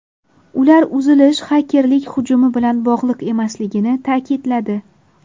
Ular uzilish xakerlik hujumi bilan bog‘liq emasligini ta’kidladi.